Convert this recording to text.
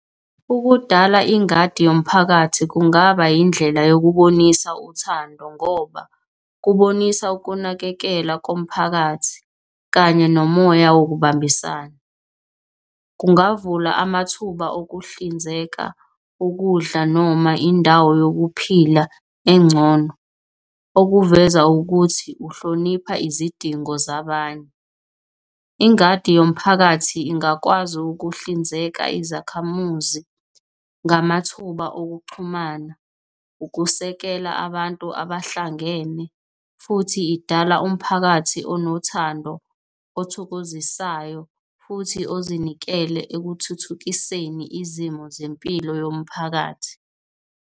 Ukudala ingadi yomphakathi kungaba yindlela yokubonisa uthando, ngoba kubonisa ukunakekela komphakathi kanye nomoya wokubambisana. Kungavula amathuba okuhlinzeka ukudla noma indawo yokuphila engcono okuveza ukuthi uhlonipha izidingo zabanye. Ingadi yomphakathi ingakwazi ukuhlinzeka izakhamuzi ngamathuba okuxhumana, ukusekela abantu abahlangene futhi idala umphakathi onothando, othokozisayo futhi ozinikele ekuthuthukiseni izimo zempilo yomphakathi.